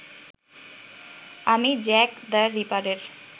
আমি Jack the রিপারের